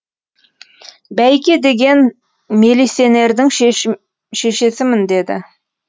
бәйке деген мелисенердің шешесімін деді